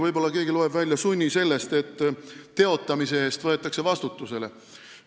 Võib-olla loeb keegi sunni välja sellest, et teotamise eest võetakse vastutusele.